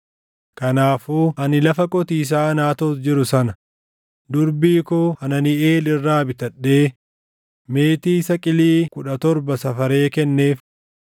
kanaafuu ani lafa qotiisaa Anaatoot jiru sana durbii koo Hananiʼeel irraa bitadhee meetii saqilii kudha torba safaree kenneef.